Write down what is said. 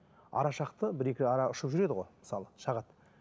ара шақты бір екі ара ұшып жүреді ғой мысалы шағады